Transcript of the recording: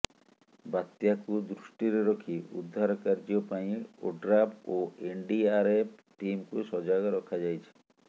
ବାତ୍ୟାକୁ ଦୃଷ୍ଟିରେ ରଖି ଉଦ୍ଧାର କାର୍ଯ୍ୟ ପାଇଁ ଓଡ୍ରାଫ୍ ଓ ଏନଡିଆରଏଫ ଟିମକୁ ସଜାଗ ରଖାଯାଇଛି